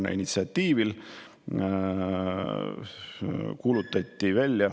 Ka siis kuulutati Keskerakonna initsiatiivil …